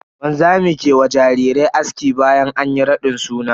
Wanzami ke wa jarirai aski bayan anyi raɗin suna.